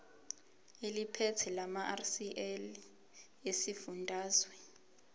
eliphethe lamarcl esifundazwe